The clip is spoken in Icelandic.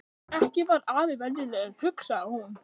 Ekki var afi venjulegur, hugsaði hún.